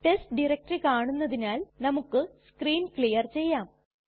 test directory കാണുന്നതിനാൽ നമുക്ക് screen clear ചെയ്യാം